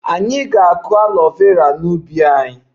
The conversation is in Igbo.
Anyị ga-akụ aloe Vera n'ubi anyị